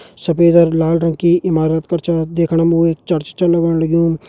सफेद अर लाल रंग की इमारत कर छा देखण मा वो एक चर्च छा लगण लगयुं।